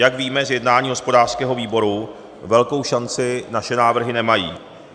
Jak víme z jednání hospodářského výboru, velkou šanci naše návrhy nemají.